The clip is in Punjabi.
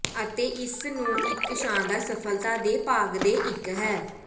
ਅਤੇ ਇਸ ਨੂੰ ਇੱਕ ਸ਼ਾਨਦਾਰ ਸਫਲਤਾ ਦੇ ਭਾਗ ਦੇ ਇੱਕ ਹੈ